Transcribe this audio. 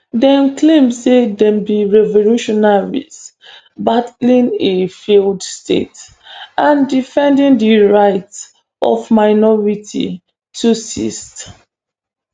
dem claim say dem be revolutionaries battling a failed state and defending di rights of minority tutsis